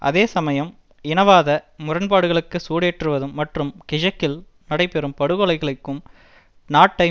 அதே சமயம் இனவாத முரண்பாடுகளுக்கு சூடேற்றுவதும் மற்றும் கிழக்கில் நடைபெறும் படுகொலைகளும் நாட்டை